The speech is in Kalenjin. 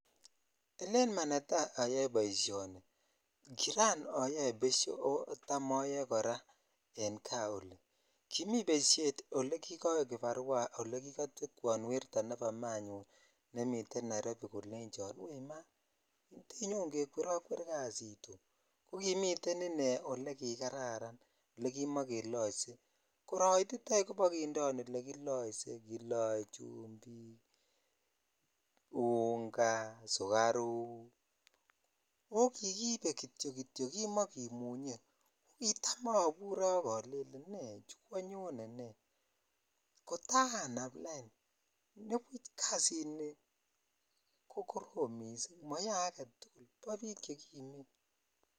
Olen manetaa oyoe boishoni kiran oyoee besho oo tam oyoe koraa en kaa olii, kimii beshet olee kikowe kibarua olee kikotwekwon werto nebo manyun nemiten Nairobi kolenchon weii maa tenyon kekwerokwer kasini oo, kokimiten inee olekikaran olekimakeloise koroititoi bokindeon olekioise, kiloe chumbik, unga, sukaruk oo kikibe kitiokitio kimokimunye kitam obure ak olelen nechu kwonyone nee, kotaa naam any kasini kokorom mising moyoe aketukul bo biik chekimen.